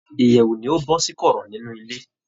Ìyèwù ni ó bọ́ sí kọ̀rọ̀ nínú ilé.